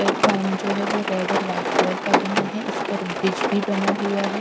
Platform जो है वो रेड और वाइट कलर का बना है इस पर ब्रिज भी बना हुआ है ।